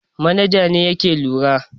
Manaja ne yake lura.